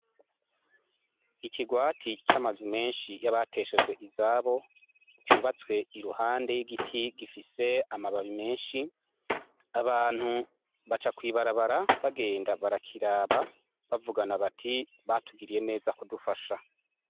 Ikirwati c'amazu menshi y'abateshejwe izabo cyubatswe iruhande y'igiti gifise amababi menshi abantu baca kwibarabara bagenda barakiraba bavugana bati batugiriye neza kudufasha.